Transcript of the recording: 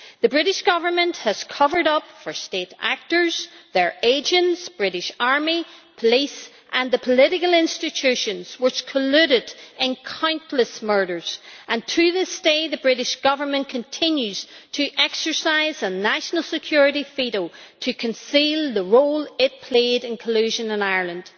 The British Government has covered up for state actors, their agents, the British army, police and the political institutions which colluded in countless murders, and to this day the British Government continues to exercise a national security veto to conceal the role it played in collusion in Ireland.